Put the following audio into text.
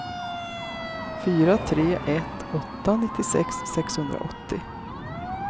fyra tre ett åtta nittiosex sexhundraåttio